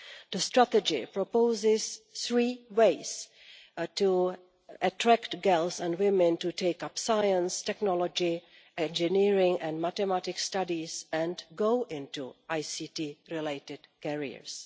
The strategy proposes three ways to attract girls and women to take up science, technology, engineering and mathematics studies and go into ICT related areas.